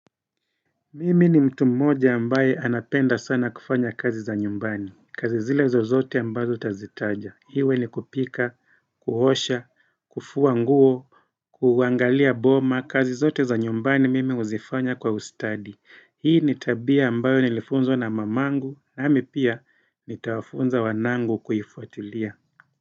Mimi ni mtu mmoja ambaye anapenda sana kufanya kazi za nyumbani, kazi zile zozote ambazo utazitaja, iwe ni kupika, kuosha, kufua nguo, kuangalia boma, kazi zote za nyumbani mimi huzifanya kwa ustadi, hii nitabia ambayo nilifunzwa na mamangu, nami pia nitawafunza wanangu kuifuatilia.